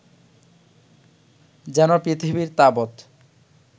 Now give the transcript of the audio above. যেন পৃথিবীর তাবৎ